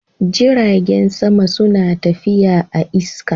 Jiragen sama suna tafiya a'iska.